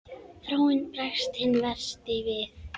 Þráinn bregst hinn versti við.